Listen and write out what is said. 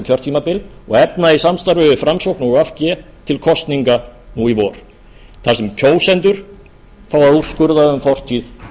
kjörtímabil og efna í samstarfi við framsókn og v g til kosninga nú í vor þar sem kjósendur fá að úrskurða um fortíð